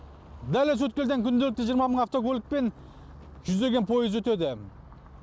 дәл осы өткелден күнделікті жиырма мың автокөлік пен жүздеген поезд өтеді